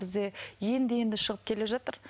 бізде енді енді шығып келе жатыр